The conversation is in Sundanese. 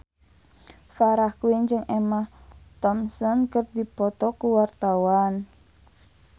Farah Quinn jeung Emma Thompson keur dipoto ku wartawan